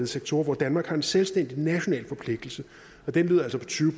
sektorer hvor danmark har en selvstændig national forpligtelse og den lyder altså på tyve